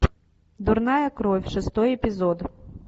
дурная кровь шестой эпизод